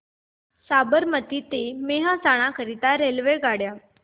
साबरमती ते मेहसाणा करीता रेल्वेगाड्या